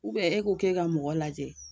e k'o k;e ka mɔgɔ lajɛ,